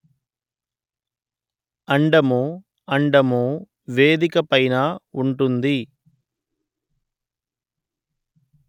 అండముఅండము వేదిక పైన ఉంటుంది